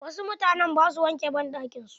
Wasu mutanen ba su wanke banɗakin su.